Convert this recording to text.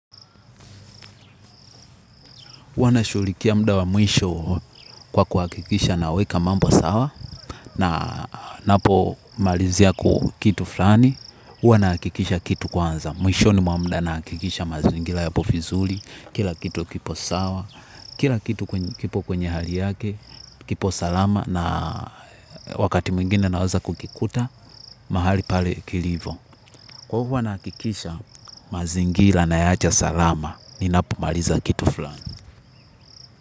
Huwa nashuulikia mda wa mwisho kwa kuhakikisha naweka mambo sawa na napomalizia kitu fulani, huwa naakikisha kitu kwanza. Mwishoni mwa mda naakikisha mazingila yapo fizuli, kila kitu kipo sawa, kila kitu kwenye hali yake, kipo salama na wakati mwingine naeza kukikuta, mahali pale kilivo. Kwa huwa naakikisha mazingila nayaacha salama, ninapomaliza kitu fulani.